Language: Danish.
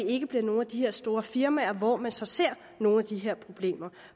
ikke bliver nogle af de store firmaer hvor man så ser nogle af de her problemer